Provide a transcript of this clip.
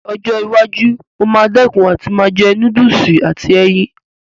Ní ọjọ́ iwájú, mo máa dẹ̀kun àti máa jẹ núdùsì àti ẹyin